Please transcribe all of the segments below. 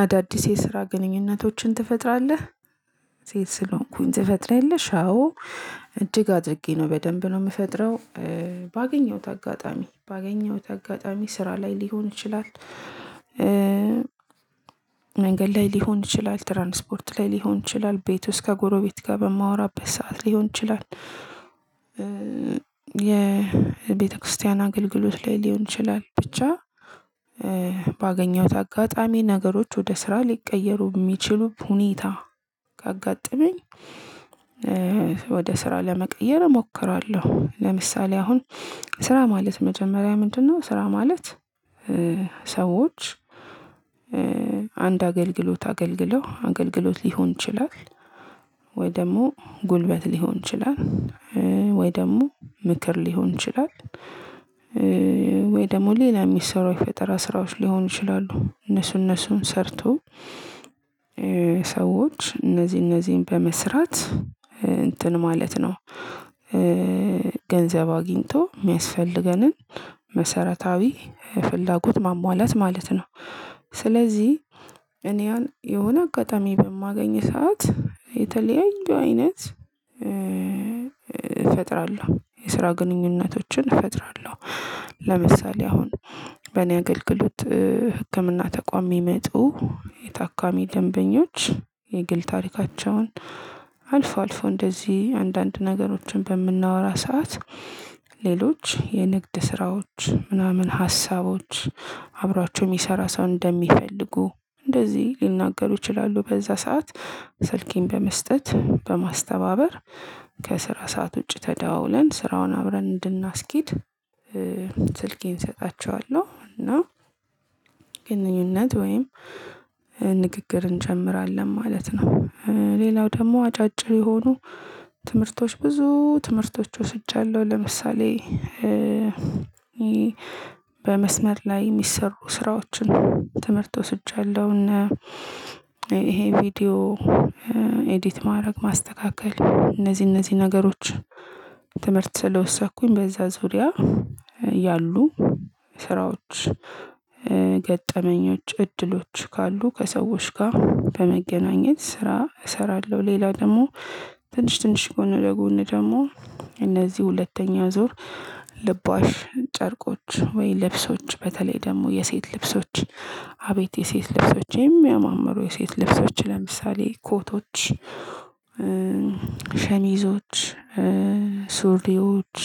አዳዲስ የስራ ግንኙነቶችን ትፈጥራለህ? ሴት ስለሆንኩኝ ትፈጥሪያለሽ? አዎ እጅግ አድርጌ ነው በደንብ ነው የምፈጥረው። ባገኘሁት አጋጣሚ ባገኘሁት አጋጣሚ ስራ ላይ ሊሆን ይችላል። መንገድ ላይ ሊሆን ይችላል ትራንስፖርት ላይ ሊሆን ይችላል ቤት ውስጥ ከጎሮቤት ጋር በማወራበት ሰዓት ሊሆን ይችላል። የቤተክርስቲያን አገልግሎት ላይ ሊሆን ይችላል ብቻ። ባገኘሁት አጋጣሚ ነገሮች ወደ ስራ ሊቀየሩ የሚችሉ ሁኔታ ካጋጠመኝ። ወደ ስራ ለመቀየር እሞክራለሁ። ለምሳሌ አሁን ስራ ማለት መጀመሪያ ምንድነው? ስራ ማለት። ሰዎች አንድ አገልግሎት አገልግለው አገልግሎት ሊሆን ይችላል። ወይ ደግሞ ጉልበት ሊሆን ይችላል። ወይ ደግሞ ምክር ሊሆን ይችላል። ወይ ደግሞ ሌላ የሚሰሩ የፈጠራ ስራዎች ሊሆኑ ይችላሉ እነሱ እነሱን ሰርቶ ሰዎች እነዚህ እነዚህን በመስራት እንትን ማለት ነው። ገንዘብ አግኝቶ የሚያስፈልገንን መሰረታዊ ፍላጎት ማሟላት ማለት ነው። ስለዚህ እኔ ያን የሆነ አጋጣሚ በማገኝ ሰዓት የተለያዩ አይነት እፈጥራለሁ የስራ ግንኙነቶችን እፈጥራለሁ። ለምሳሌ አሁን በእኔ አገልግሎት ህክምና ተቋም የሚመጡ የታካሚ ደንበኞች የግል ታሪካቸውን አልፎ አልፎ እንደዚህ አንዳንድ ነገሮችን በምናወራ ሰዓት ሌሎች የንግድ ስራዎች ምናምን ሀሳቦች አብሯቸው የሚሰራ ሰው እንደሚፈልጉ። እንደዚህ ሊናገሩ ይችላሉ በዛ ሰዓት ስልኬን በመስጠት በማስተባበር ከስራ ሰዓት ውጪ ተደዋውለን ስራውን አብረን እንድናስኬድ። ስልኬን እሰጣቸዋለሁ እና ግንኙነት ወይም ንግግር እንጀምራለን ማለት ነው። ሌላው ደግሞ አጫጭር የሆኑ ትምህርቶች ብዙ ትምህርቶች ወስጃለሁ ለምሳሌ። በመስመር ላይ የሚሰሩ ስራዎችን ትምህርት ወስጃለሁ። እና ይሄ ቪዲዮ ኤዲት ማድረግ ማስተካከል እነዚህ እነዚህ ነገሮች ትምህርት ስለወሰድኩኝ በዛ ዙሪያ ያሉ ስራዎች ገጠመኞች እድሎች ካሉ ከሰዎች ጋር በመገናኘት ስራ እሰራለሁ። ሌላ ደግሞ ትንሽ ትንሽ ጎን ለጎን ደግሞ እነዚህ ሁለተኛ ዙር ልባሽ ጨርቆች ወይ ልብሶች በተለይ ደግሞ የሴት ልብሶች አቤት የሴት ልብሶች የሚያማምሩ የሴት ልብሶች ለምሳሌ ኮቶች ሸሚዞች ሱሪዎች።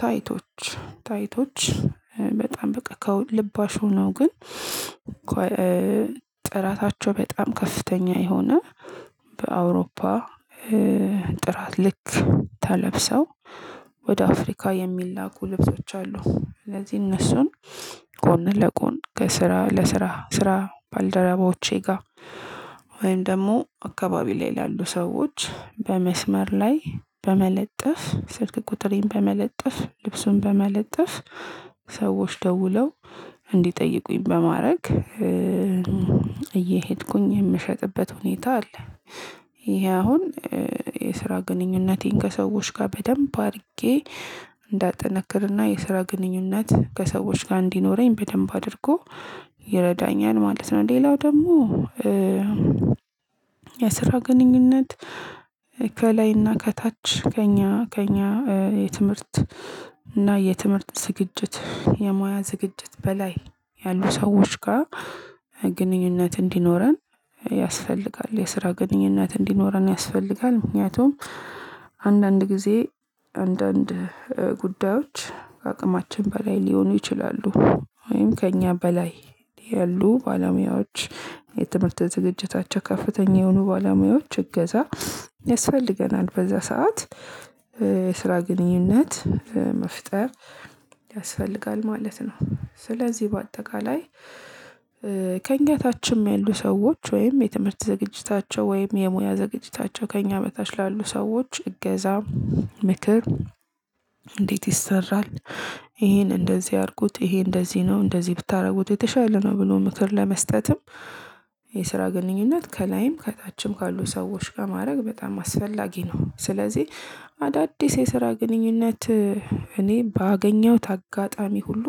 ታይቶች ታይቶች በጣም በቃ ልባሽ ሁነው ግን ጥራታቸው በጣም ከፍተኛ የሆነ በአውሮፓ ጥራት ልክ ተለብሰው ወደ አፍሪካ የሚላኩ ልብሶች አሉ። ስለዚህ እነሱን ጎን ለጎን ከስራ ለስራ ስራ ባልደረባዎቼ ጋር ወይም ደግሞ አካባቢ ላይ ላሉ ሰዎች በመስመር ላይ በመለጠፍ ስልክ ቁጥሬን በመለጠፍ ልብሱን በመለጠፍ ሰዎች ደውለው እንዲጠይቁኝ በማድረግ እየሄድኩኝ የምሸጥበት ሁኔታ አለ። ይሄ አሁን የስራ ግንኙነቴን ከሰዎች ጋር በደንብ አድርጌ እንዳጠነክርና የስራ ግንኙነት ከሰዎች ጋር እንዲኖረኝ በደንብ አድርጎ ይረዳኛል ማለት ነው። ሌላው ደግሞ የስራ ግንኙነት ከላይና ከታች ከእኛ ከእኛ የትምህርት እና የትምህርት ዝግጅት የሙያ ዝግጅት በላይ ያሉ ሰዎች ጋር ግንኙነት እንዲኖረን ያስፈልጋል። የስራ ግንኙነት እንዲኖረን ያስፈልጋል። ምክንያቱም አንዳንድ ጊዜ አንዳንድ ጉዳዮች ከአቅማችን በላይ ሊሆኑ ይችላሉ። ወይም ከእኛ በላይ ያሉ ባለሙያዎች የትምህርት ዝግጅታቸው ከፍተኛ የሆኑ ባለሙያዎች እገዛ ያስፈልገናል። በዛ ሰዓት የስራ ግንኙነት መፍጠር ያስፈልጋል ማለት ነው። ስለዚህ በአጠቃላይ ከእኛ ታችም ያሉ ሰዎች ወይም የትምህርት ዝግጅታቸው ወይም የሙያ ዝግጅታቸው ከእኛ በታች ላሉ ሰዎች እገዛ ምክር እንዴት ይሰራል? ይሄን እንደዚህ አድርጉት ይሄ እንደዚህ ነው እንደዚህ ብታደርጉት የተሻለ ነው ብሎ ምክር ለመስጠትም የስራ ግንኙነት ከላይም ከታችም ካሉ ሰዎች ጋ ማድረግ በጣም አስፈላጊ ነው። ስለዚህ አዳድስ የስራ ግንኙነት እኔ ባገኘሁት አጋጣሚ ሁሉ